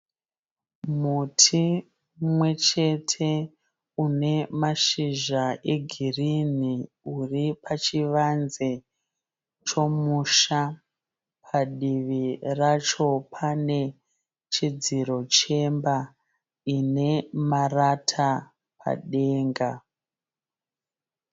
Muti mumwe chete une mashizha egirini uri pachivanze chomusha padivi racho pane chidziro chemba ine marata padenga.